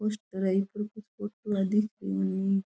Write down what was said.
Poster है पर फोटवा पूरा दिखयो नही।